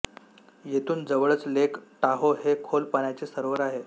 येथून जवळच Lake Tahoe हे खोल पाण्याचे सरोवर आहे